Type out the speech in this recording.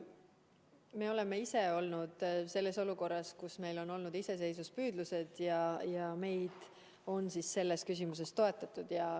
Me oleme ise olnud selles olukorras, kus meil on olnud iseseisvuspüüdlused ja meid on selles küsimuses toetatud.